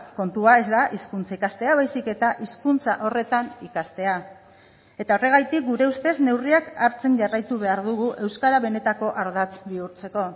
kontua ez da hizkuntza ikastea baizik eta hizkuntza horretan ikastea eta horregatik gure ustez neurriak hartzen jarraitu behar dugu euskara benetako ardatz bihurtzeko